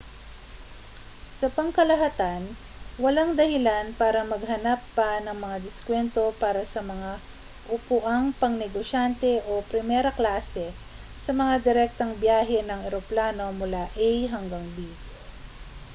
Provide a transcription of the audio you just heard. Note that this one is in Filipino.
sa pangkalahatan walang dahilan para maghanap pa ng mga diskwento para sa mga upuang pangnegosyante o primera-klase sa mga direktang biyahe ng eroplano mula a hanggang b